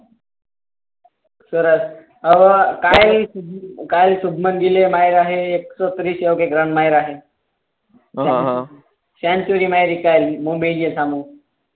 ગીલે માયરા હે એકસો ત્રીસ રન માયરા હે હમ હમ સેન્ચ્યુરી મારી કાલ મુંબઈ ની સામે